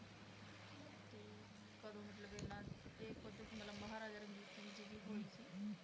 ਤੇ ਕਦੋਂ ਮਤਲਬ ਇਹਨਾਂ ਇਹ ਖੁੱਦ ਮਤਲਬ ਮਹਾਰਾਜਾ ਰਣਜੀਤ ਸਿੰਘ ਜੀ ਦੀ ਹੋਈ ਸੀ